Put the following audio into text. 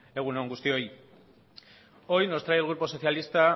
egun on guztioi hoy nos trae el grupo socialista